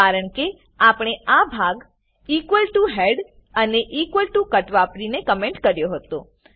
કારણકે આપણે આ ભાગ ઇક્વલ ટીઓ હેડ અને ઇક્વલ ટીઓ કટ વાપરીને કમેન્ટ કર્યો હતો